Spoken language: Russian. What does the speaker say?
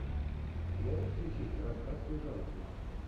можешь включить рассказ служанки